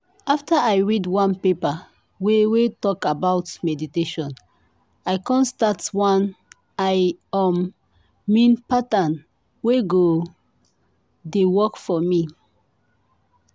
after i read one paper wey wey talk about meditation i come start one i um mean pattern wey go dey work for me.